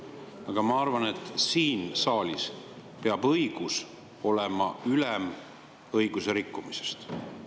Aga ma arvan, et siin saalis peab õigus olema ülem õiguserikkumisest.